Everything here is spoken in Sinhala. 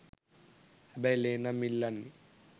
හැබැයි ලේ නම් ඉල්ලන්නේ